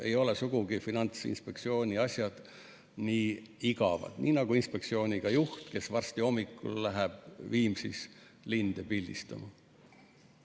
Ei ole Finantsinspektsiooni asjad sugugi nii igavad, nagu ka inspektsiooni juht, kes hommikul läheb Viimsis linde pildistama.